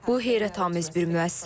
Bu heyrətamiz bir müəssisədir.